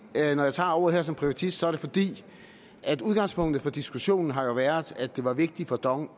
at når jeg tager ordet her som privatist er det fordi udgangspunktet for diskussionen jo har været at det var vigtigt for dong